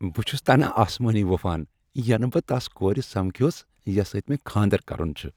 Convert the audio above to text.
بہ چھُس تنہ اسمٲنۍ وپھان ینہ بہ تس کورِ سمکھیوس یس سۭتۍ مےٚ کھاندر کرُن چھُ۔